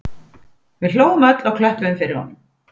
Við hlógum öll og klöppuðum fyrir honum